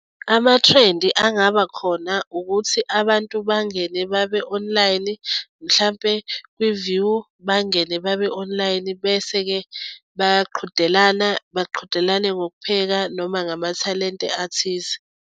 Amathrendi angaba khona ukuthi abantu bangene babe online mhlampe kwi-view, bangene babe online bese-ke bayaqhudelana baqhudelane ngokupheka noma ngamathalente athize.